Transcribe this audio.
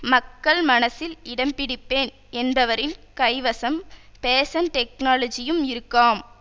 மக்கள் மனசில் இடம்பிடிப்பேன் என்பவரின் கைவசம் பேசன் டெக்னாலஜியும் இருக்காம்